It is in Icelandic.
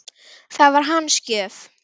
Það var hans gjöf.